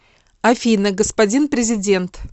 афина господин президент